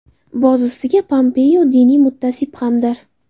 Boz ustiga, Pompeo diniy mutaassib hamdir.